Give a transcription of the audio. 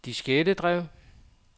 diskettedrev